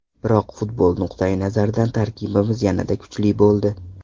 Biroq futbol nuqtai nazaridan tarkibimiz yanada kuchli bo‘ldi”.